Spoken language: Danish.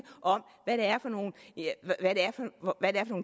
om hvad det er for nogle